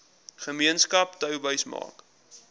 gemeenskap touwys maak